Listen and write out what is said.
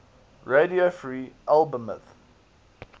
radio free albemuth